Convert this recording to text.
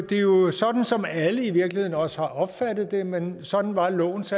det er jo sådan som alle i virkeligheden også har opfattet det men sådan var lovens